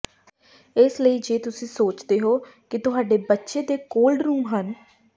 ਇਸ ਲਈ ਜੇ ਤੁਸੀਂ ਸੋਚਦੇ ਹੋ ਕਿ ਤੁਹਾਡੇ ਬੱਚੇ ਦੇ ਕੋਲਡਰੂਮ ਹਨ